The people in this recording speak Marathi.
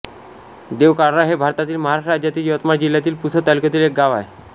देवकारळा हे भारतातील महाराष्ट्र राज्यातील यवतमाळ जिल्ह्यातील पुसद तालुक्यातील एक गाव आहे